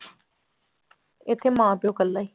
ਇੱਥੇ ਮਾਂ ਪਿਓ ਇਕੱਲਾ ਹੀ।